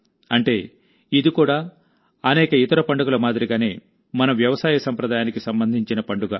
అంటే ఇది కూడా అనేక ఇతర పండుగల మాదిరిగానే మన వ్యవసాయ సంప్రదాయానికి సంబంధించిన పండుగ